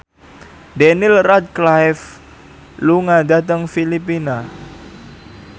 Daniel Radcliffe lunga dhateng Filipina